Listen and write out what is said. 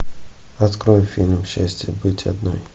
открой фильм счастье быть одной